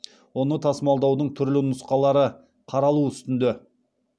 оны тасымалдаудың түрлі нұсқалары қаралу үстінде